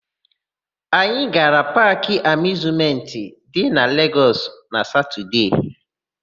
Anyị gara Paakị Amịuzmentị dị na Legọs na Satọdee.